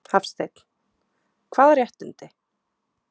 Hafsteinn: Hvaða réttindi?